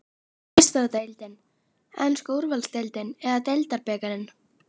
Er það Meistaradeildin, enska úrvalsdeildin eða deildarbikarinn?